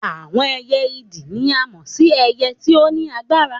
Àwọn ẹyẹ idì ni a mọ sí ẹyẹ tí o ni agbára